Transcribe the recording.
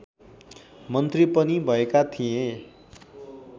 मन्त्री पनि भएका थिए